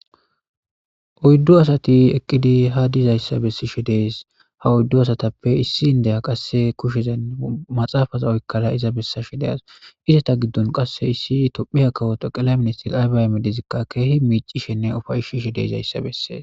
Oyddu asati eqqidi ha dizayssa bessishe dees ha oyddu asatappe issi indeya qasse kushezan maxaafaza oykkara iza bessashe de'awus izeta giddon qasse issi tophiya kawota xeqelay ministeri Abiy Ahimmedezikka keehi miiccishenne uffayishe de'izayssa bessees